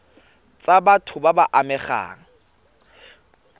tsa batho ba ba amegang